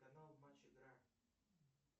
канал матч игра